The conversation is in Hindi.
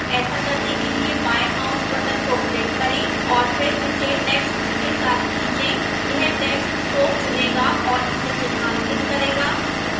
ऐसा करने के लिए बाएं mouse button को click करें और फिर इसे text के साथ खींचें यह text को चुनेगा और इसे चिन्हांकित करेगा